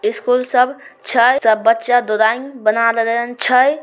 School सब छै सब बच्चा ड्राइंग बना लेने छै।